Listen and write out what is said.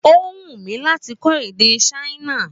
Ó wù mí láti kó èdè ṣáínà